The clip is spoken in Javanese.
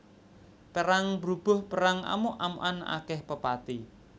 Perang brubuh perang amuk amukan akèh pepati